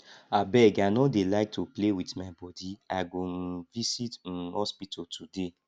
abeg i no dey like to play with my body i go um visit um hospital today